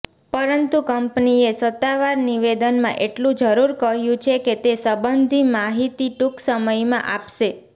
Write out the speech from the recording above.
પરંતુ કંપનીએ સત્તાવાર નિવેદનમાં એટલું જરૂર કહ્યું છે કે તે સંબંધી માહિતી ટૂંકસમયમાં આપશે